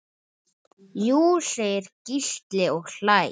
Jú segir Gísli og hlær.